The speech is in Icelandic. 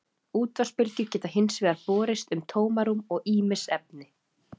útvarpsbylgjur geta hins vegar borist um tómarúm og ýmis efni